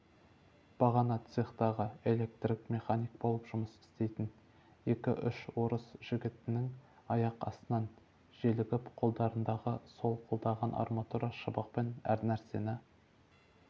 бағана цехтағы электрик механик болып істейтін екі-үш орыс жігітінің аяқ астынан желігіп қолдарындағы солқылдаған арматура шыбықпен әрнәрсені